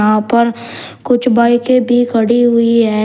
यहां पर कुछ बाइके भी खड़ी हुई हैं।